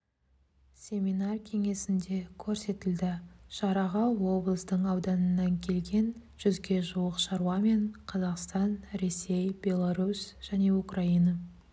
семинар-кеңесінде көрсетілді шараға облыстың ауданынан келген жүзге жуық шаруа мен қазақстан ресей беларусь және украина